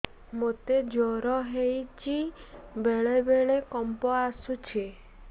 ମୋତେ ଜ୍ୱର ହେଇଚି ବେଳେ ବେଳେ କମ୍ପ ଆସୁଛି